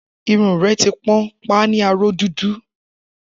Irun rẹ ti pọ́n, pa á ní aró dúdú